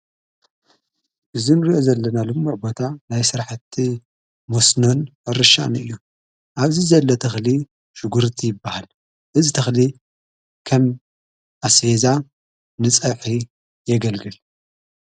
እዝንርዮ ዘለናሉ ምዕቦታ ናይ ሥራሕቲ ሙስኖን ሕርሻን እዩ ኣብዝ ዘለ ተኽሊ ሽጕርት ይበሃል እዝ ተኽሊ ከም ኣስፌዛ ንጻሕ የገልግል።